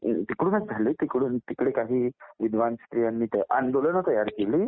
तिकडूनच झाली, तिकडे काही विद्वान स्त्रियांनी आंदोलने तयार केली